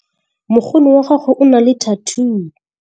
mokgono wa gagwe o na le thathuu